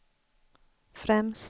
främst